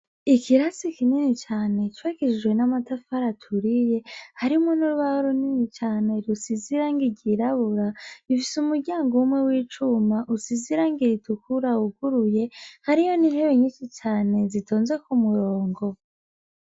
Ikirasi kinini cane cubakishijwe namatafari aturiye harimwo nurubaho runini rusize irangi ryirabura, rifise umuryango umwe wicuma rifise irangi ritukura ryuguruye harimwo nintebe nyinshi cane zitonze kumurongo.